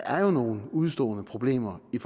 er nogle udestående problemer i